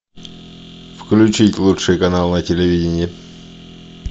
включить лучший канал на телевидение